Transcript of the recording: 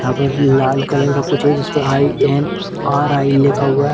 यहाँ पर लाल कलर का कुछ है जिसपर आई.एन.आर.आई. लिखा हुआ है।